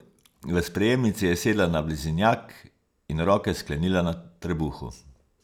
V sprejemnici je sedla na blazinjak in roke sklenila na trebuhu.